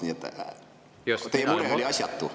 Nii et teie mure oli asjatu.